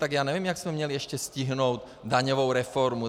Tak já nevím, jak jsme měli ještě stihnout daňovou reformu.